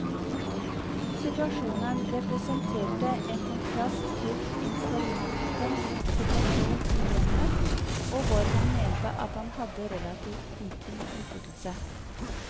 Situasjonen representerte en kontrast til informantens situasjon i hjemmet, hvor han mente at han hadde relativt liten innflytelse.